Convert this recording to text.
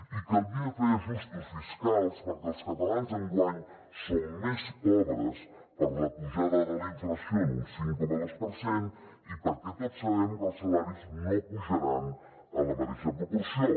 i calia fer ajustos fiscals perquè els catalans enguany som més pobres per la pujada de la inflació en un cinc coma dos per cent i perquè tots sabem que els salaris no pujaran en la mateixa proporció